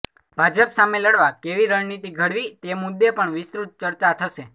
ભાજપ સામે લડવા કેવી રણનિતી ઘડવી તે મુદ્દે પણ વિસ્તૃત ચર્ચા થશે